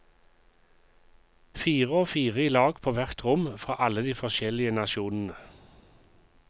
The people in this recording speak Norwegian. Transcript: Fire og fire i lag på hvert rom fra alle de forskjellige nasjonene.